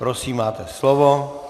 Prosím máte slovo.